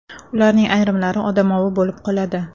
Ularning ayrimlari odamovi bo‘lib qoladi.